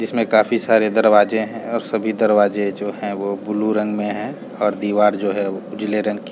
जिसमें काफ़ी सारे दरवाजे है और सभी दरवाजे जो है वो ब्लू रंग में है और दिवार जो है वो उजले रंग कि--